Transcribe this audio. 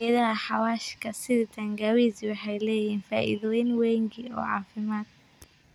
Geedaha xawaashka sida tangawizi waxay leeyihiin faa'iidooyin wengi oo caafimaad.